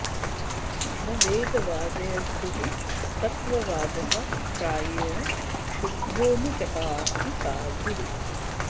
न वेदवादेषु हि तत्त्ववादः प्रायेण शुद्धो नु चकास्ति साधुः